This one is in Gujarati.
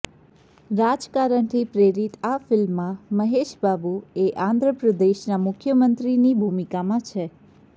રાજકારણથી પ્રેરિત આ ફિલ્મમાં મેહશ બાબૂએ આંધ્ર પ્રદેશના મુખ્યમંત્રીની ભૂમિકામાં છે